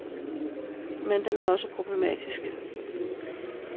Men den er også problematisk.